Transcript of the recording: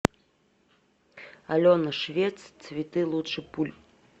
алена швец цветы лучше пуль